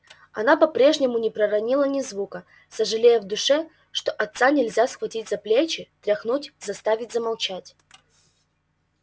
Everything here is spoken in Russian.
она по-прежнему не проронила ни звука сожалея в душе что отца нельзя схватить за плечи тряхнуть заставить замолчать